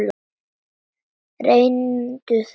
Reyndu það.